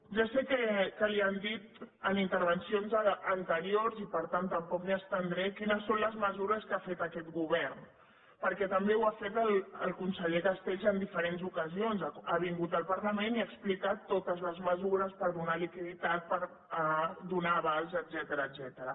ja sé que li han dit en intervencions anteriors i per tant tampoc m’hi estendré quines són les mesures que ha fet aquest govern perquè també ho ha fet el conseller castells en diferents ocasions ha vingut al parlament i ha explicat totes les mesures per donar liquiditat per donar avals etcètera